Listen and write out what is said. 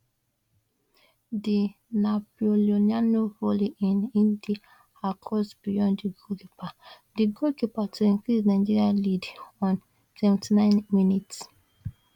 di napoliloanee volley in ndidi cross beyond di goalkeeper di goalkeeper to increase nigeria lead on 79 minutes